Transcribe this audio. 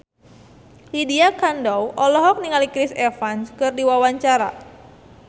Lydia Kandou olohok ningali Chris Evans keur diwawancara